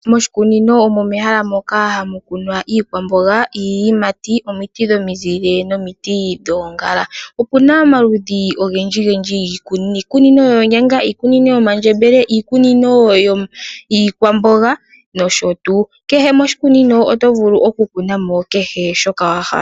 Moshikunino omo mehala moka hamu kunwa iikwamboga, iiyimati nomiti dhomizile nomiti dhoongala. Opuna omaludhi ogendji gendji giikunino iikunino yomandjembele, iikunino yiikwamboga nosho tuu. Kehe moshikunino oto vulu okukunamo kehe shoka wa hala.